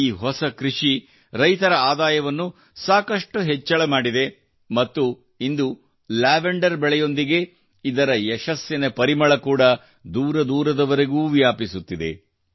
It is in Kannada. ಈ ಹೊಸ ಕೃಷಿಯು ರೈತರ ಆದಾಯವನ್ನು ಸಾಕಷ್ಟು ಹೆಚ್ಚಳ ಮಾಡಿದೆ ಮತ್ತು ಇಂದು ಲ್ಯಾವೆಂಡರ್ ಬೆಳೆಯೊಂದಿಗೆ ಇದರ ಯಶಸ್ಸಿನ ಪರಿಮಳ ಕೂಡಾ ದೂರದೂರವರೆಗೂ ವ್ಯಾಪಿಸುತ್ತಿದೆ